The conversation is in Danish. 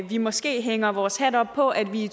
vi måske hænger vores hat op på at vi i